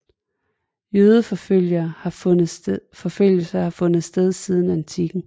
Jødeforfølgelser har fundet sted siden antikken